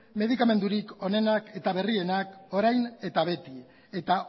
medikamenturik onenak eta berrienak orain eta beti eta